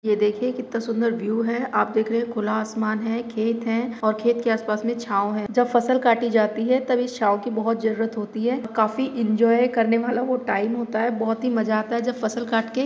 ये देखिये कितना सुन्दर व्यू है आप देख रहे है खुला आसमान है खेत है और खेत आस पास में छाव है जब फसल कटी जाती है तब इस छाव की बहुत ज़रूरत होती है काफ़ी एन्जॉय करने वाला टाइम होता है बहुत मज़ा आता है जब फसल काट के --